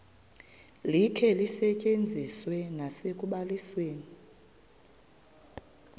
likhe lisetyenziswe nasekubalisweni